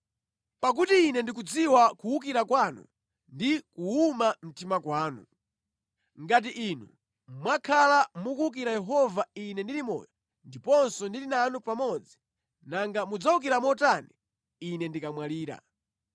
Pakuti Ine ndikudziwa kuwukira kwanu ndi kuwuma mtima kwanu. Ngati inu mwakhala mukuwukira Yehova ine ndili moyo ndiponso ndili nanu pamodzi, nanga mudzawukira motani ine ndikamwalira!